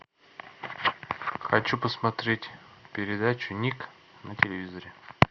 хочу посмотреть передачу ник на телевизоре